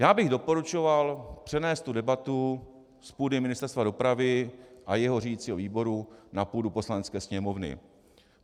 Já bych doporučoval přenést tu debatu z půdy Ministerstva dopravy a jeho řídicího výboru na půdu Poslanecké sněmovny.